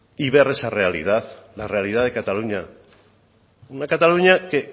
y ver esa realidad la realidad de cataluña una cataluña que